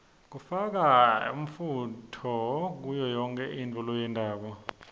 kufaka umfunto kuyoyonkhe intfo loyentako